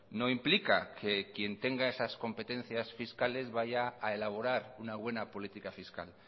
no implica que quien tenga esas competencias fiscales vaya a elaborar una buena política fiscal